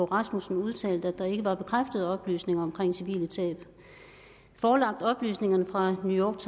rasmussen udtalt at der ikke er bekræftede oplysninger om civile tab forelagt oplysningerne fra the new